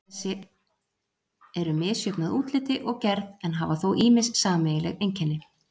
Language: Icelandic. Eldfjöll þessi eru misjöfn að útliti og gerð en hafa þó ýmis sameiginleg einkenni.